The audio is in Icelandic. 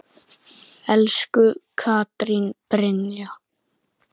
Elsku Katrín Brynja.